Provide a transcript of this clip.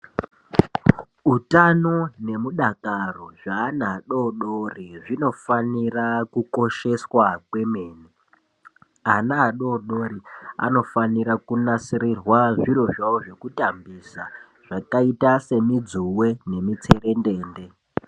Utano nemudakaro zveana adodori zvinofanira kukosheswa kwemene. Ana adodori anofanirwa kunasirirwa zviro zvavo zvekutambisa zvakaita semidzuwe nemitserendende.